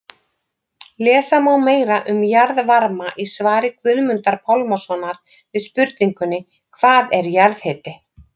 Lesa má meira um jarðvarma í svari Guðmundar Pálmasonar við spurningunni Hvað er jarðhiti?